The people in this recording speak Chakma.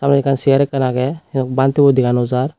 aro ekkan cheyar ekkan agey bantey bo dega naw jar.